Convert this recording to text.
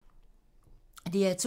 DR2